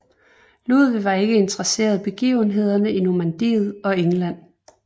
Ludvig var ikke interesseret begivenhederne i Normandiet og England